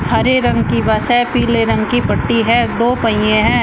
हरे रंग की बस है पीले रंग की पट्टी है दो पहिए हैं।